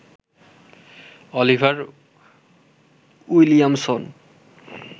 Oliver Williamson